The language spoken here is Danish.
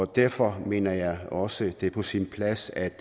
derfor mener jeg også det er på sin plads at